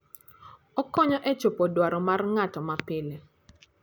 Okonyo e chopo dwaro mag ng'ato mapile.